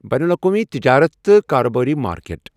بین الاقوٲمی تجارت تہٕ کاربٲرۍ مارکیٹ ۔